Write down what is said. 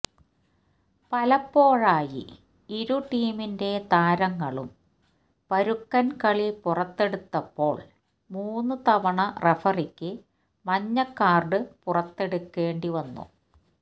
പലപ്പോഴായി ഇരു ടീമിന്റെ താരങ്ങളും പരുക്കന് കളി പുറത്തെടുത്തപ്പോള് മൂന്ന് തവണ റഫറിക്ക് മഞ്ഞക്കാര്ഡ് പുറത്തെടുക്കേണ്ടി വന്നു